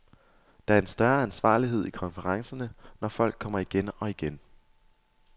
Der er også en større ansvarlighed i konferencerne, når folk kommer igen og igen.